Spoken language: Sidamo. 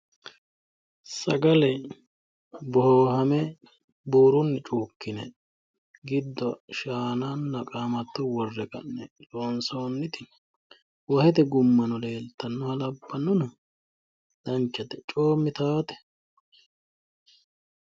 Sagale boohame buurunni cuukkine giddo shaananna qaamatto worre ka'ne loonsoonniti wahete gummano leeltannoha labbannona danchate. Coommitaawote.